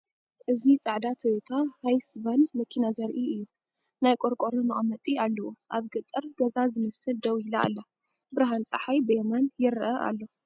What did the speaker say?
እዚ ጻዕዳ ቶዮታ ሃይስ ቫን መኪና ዘርኢ እዩ። ናይ ቆርቆሮ መቐመጢ ኣለዎ። ኣብ ገጠር ገዛ ዝመስል ደው ኢላ ኣላ። ብርሃን ጸሓይ ብየማን ይርአ ኣሎ።